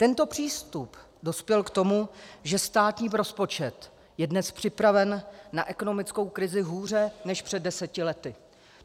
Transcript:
Tento přístup dospěl k tomu, že státní rozpočet je dnes připraven na ekonomickou krizi hůře než před deseti lety.